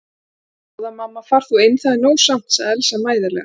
Góða mamma far þú inn, það er nóg samt, sagði Elsa mæðulega.